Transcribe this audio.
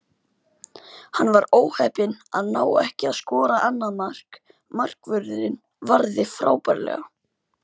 Hann var óheppinn að ná ekki að skora annað mark, markvörðurinn varði frábærlega.